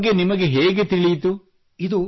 ಇದರ ಬಗ್ಗೆ ನಿಮಗೆ ಹೇಗೆ ತಿಳಿಯಿತು